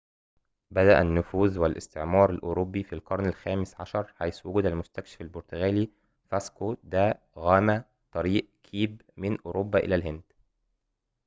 بدأ النفوذ والاستعمار الأوروبي في القرن الخامس عشر حيث وجد المستكشف البرتغالي فاسكو دا غاما طريق كيب من أوروبا إلى الهند